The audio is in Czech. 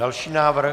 Další návrh.